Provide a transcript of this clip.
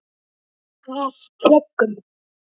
Af plöggum